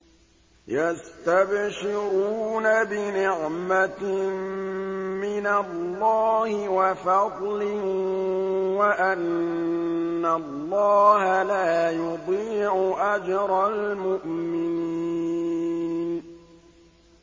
۞ يَسْتَبْشِرُونَ بِنِعْمَةٍ مِّنَ اللَّهِ وَفَضْلٍ وَأَنَّ اللَّهَ لَا يُضِيعُ أَجْرَ الْمُؤْمِنِينَ